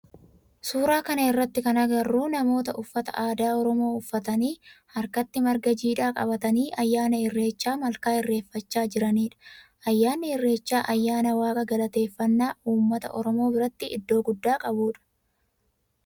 Suuraa kana irratti kan agarru namoota uffata aadaa oromoo uffatanii harkatti marga jiidhaa qabatanii ayyaana irreecha malkaa irreeffachaa jiranidha. Ayyaanni irreechaa ayyaana waaqa galateeffannaa ummata oromoo biratti iddoo guddaa qabudha.